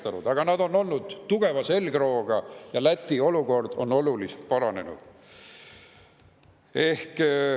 Aga on olnud tugeva selgrooga ja Läti olukord on oluliselt paranenud.